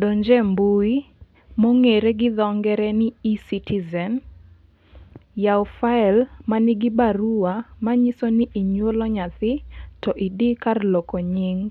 Donjie mbui mong'ere gi dho ngere ni ecitizen, yaw file manigi barua manyiso ni inyuolo nyathi to idhi kar loko nying.